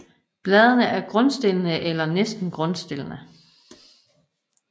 Bladene er grundstillede eller næsten grundstillede